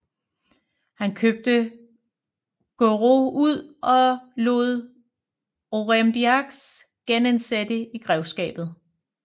Han købte Guerau ud og lod Aurembiax genindsætte i grevskabet